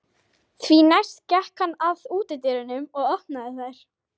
Því næst gekk hann að útidyrunum og opnaði þær.